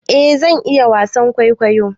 eh zan iya wasan kwaikwayo